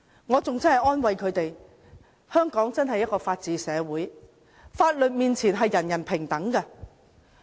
我安慰他們說，香港真是一個法治社會，法律面前，人人平等。